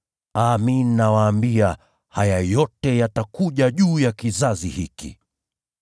Amin, nawaambia, haya yote yatakuja juu ya kizazi hiki.